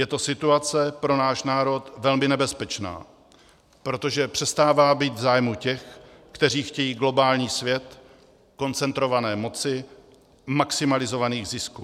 Je to situace pro náš národ velmi nebezpečná, protože přestává být v zájmu těch, kteří chtějí globální svět koncentrované moci, maximalizovaných zisků.